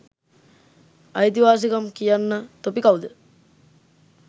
අයිතිවාසිකම් කියන්න තොපි කව්ද?